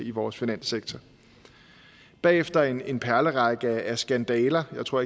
i vores finanssektor og bagefter en en perlerække af skandaler jeg tror